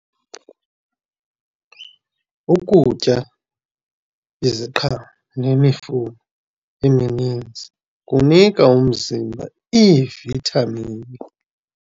Ukutya iziqhamo nemifuno emininzi kunika umzimba iivithamini.